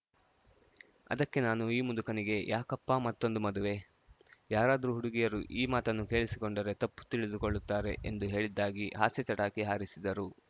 ಅದಕ್ಕೆ ನಾನು ಈ ಮುದುಕನಿಗೆ ಯಾಕಪ್ಪ ಮತ್ತೊಂದು ಮದುವೆ ಯಾರಾದ್ರೂ ಹುಡುಗಿಯರು ಈ ಮಾತನ್ನು ಕೇಳಿಸಿಕೊಂಡರೆ ತಪ್ಪು ತಿಳಿದುಕೊಳ್ಳುತ್ತಾರೆ ಎಂದು ಹೇಳಿದ್ದಾಗಿ ಹಾಸ್ಯ ಚಟಾಕಿ ಹಾರಿಸಿದರು